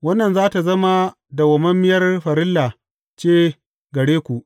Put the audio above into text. Wannan za tă zama dawwammamiyar farilla ce gare ku.